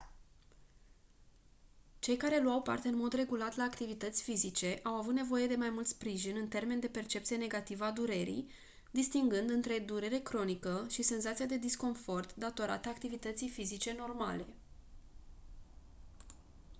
cei care luau parte în mod regulat la activități fizice au avut nevoie de mai mult sprijin în termeni de percepție negativă a durerii distingând între durere cronică și senzația de disconfort datorată activității fizice normale